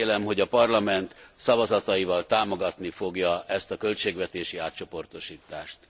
Én remélem, hogy a Parlament szavazataival támogatni fogja ezt a költségvetési átcsoportosítást.